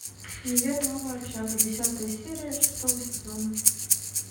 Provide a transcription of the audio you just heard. универ новая общага десятая серия шестого сезона